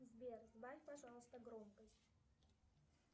сбер сбавь пожалуйста громкость